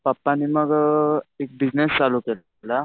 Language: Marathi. पप्पांनी मग एक बिजनेस चालू केलेला.